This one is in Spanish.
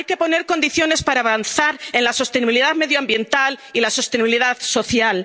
pensiones. Hay que poner condiciones para avanzar en la sostenibilidad medioambiental y la sostenibilidad